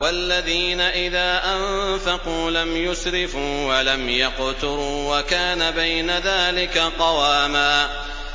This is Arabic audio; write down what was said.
وَالَّذِينَ إِذَا أَنفَقُوا لَمْ يُسْرِفُوا وَلَمْ يَقْتُرُوا وَكَانَ بَيْنَ ذَٰلِكَ قَوَامًا